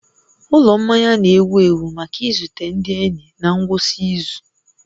Ụlọ mmanya na-ewu ewu maka izute ndị enyi na ngwụsị izu